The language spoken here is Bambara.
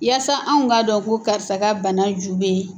Yaasa anw ka dɔn ko karisa ka bana ju bɛ